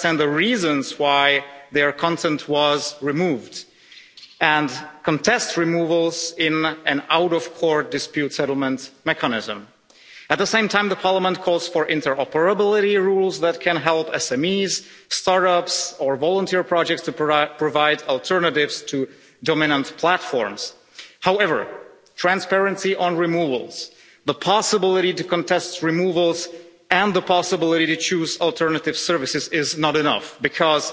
the reasons why their content was removed and contest removals in an out-of-court dispute settlement mechanism. At the same time, Parliament calls for interoperability rules that can help SMEs, start-ups or volunteer projects to provide alternatives to dominant platforms. However, transparency on removals, the possibility to contest removals and the possibility to choose alternative services is not enough because,